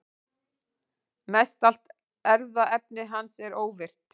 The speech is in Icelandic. Mestallt erfðaefni hans er óvirkt.